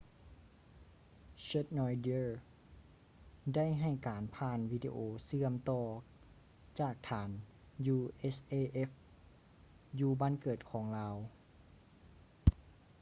schneider ໄດ້ໃຫ້ການຜ່ານວີດີໂອເຊື່ອມຕໍ່ຈາກຖານ usaf ຢູ່ບ້ານເກີດຂອງລາວ